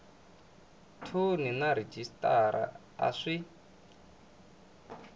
thoni na rhejisitara a swi